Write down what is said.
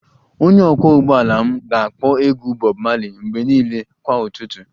Onye ọkwọ ụgbọala m ga-akpọ egwu Bob marley mgbe niile kwa ụtụtụ